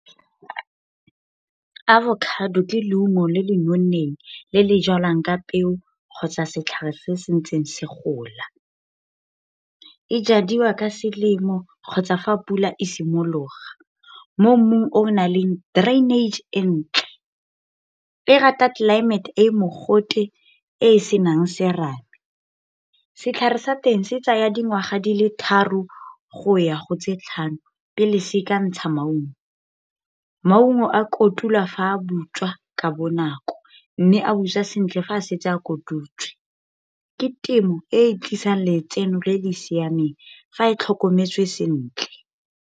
Avocado ke leungo le le nonneng le le jalwang ka peo, kgotsa setlhare se se ntseng se gola. E jadiwa ka selemo kgotsa fa pula e simologa. Mo mmung o naleng drainage e ntle, e rata tlelaemete e e mogote e e senang serame. Setlhare sa teng se tsaya dingwaga di le tharo go ya go tse tlhano, pele se ka ntsha maungo. Maungo a kotulwa fa a butswa ka bonako. Mme a busa sentle fa a setse a kututswe. Ke temo e e tlisang letseno le le siameng, fa e tlhokometswe sentle.